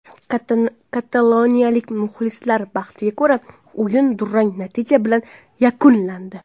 Kataloniyalik muxlislar baxtiga ko‘ra, o‘yin durang natija bilan yakunlandi.